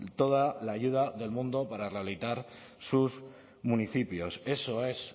toda la ayuda del mundo para rehabilitar sus municipios eso es